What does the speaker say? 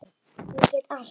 Ég get allt!